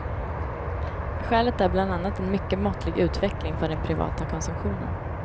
Skälet är bland annat en mycket måttlig utveckling för den privata konsumtionen.